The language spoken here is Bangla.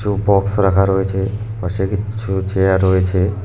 এও বক্স রাখা রয়েছে পাশে কিছছু চেয়ার রয়েছে।